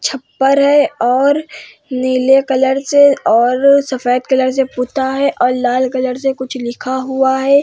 छपार है और नीले कलर से और सफ़ेद कलर से पूता है और लाल कलर से कुछ लिखा हुआ है।